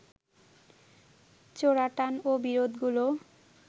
চোরাটান ও বিরোধগুলো